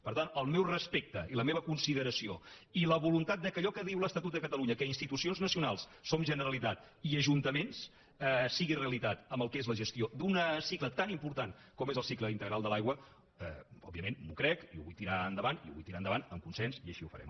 per tant el meu respecte i la meva consideració i la voluntat que allò que diu l’estatut de catalunya que institucions nacionals som generalitat i ajuntaments sigui realitat amb el que és la gestió d’un cicle tan important com és el cicle integral de l’aigua òbviament m’ho crec i ho vull tirar endavant i ho vull tirar endavant amb consens i així ho farem